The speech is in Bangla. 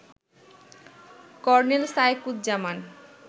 কর্নেল শায়েকুজ্জামান